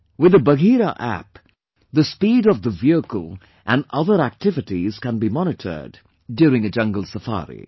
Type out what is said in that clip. With the Bagheera App, the speed of the vehicle and other activities can be monitored during a jungle safari